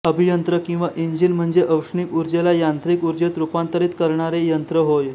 अभियंत्र किंवा इंजिन म्हणजे औष्णिक ऊर्जेला यांत्रिक ऊर्जेत रूपांतरित करणारे यंत्र होय